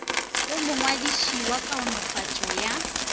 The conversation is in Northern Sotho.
go mongwadiši wa kaonafatšo ya